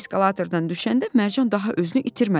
Eskalatordan düşəndə Mərcan daha özünü itirmədi.